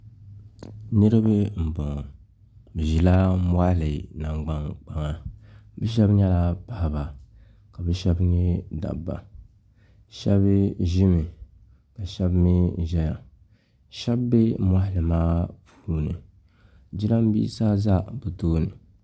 Niriba m boŋɔ bɛ ʒila moɣali nangban kpaŋa bɛ sheba nyɛla paɣaba ka bɛ Sheba nyɛ dabba sheba ʒimi ka sheba mee ʒɛya Sheba be moɣali maa puuni jirambisa za bɛ tooni.